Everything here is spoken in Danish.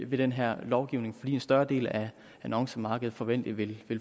ved den her lovgivning fordi en større del af annoncemarkedet forventeligt vil